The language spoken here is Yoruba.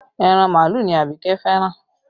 Ẹran màálù ni Abike fẹ́ràn